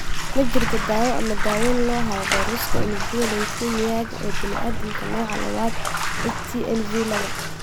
Ma jirto daawo ama daaweyn loo hayo fayraska unugyada leukemia-ga ee bini'aadamka, nooca labo (HTLV laba).